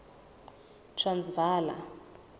transvala